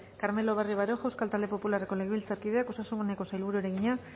carmelo barrio baroja euskal talde popularreko legebiltzarkideak osasuneko sailburuari egina